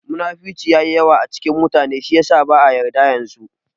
Munafurci yayi yawa a cikin mutane shi yasa ba'a yarda yanzu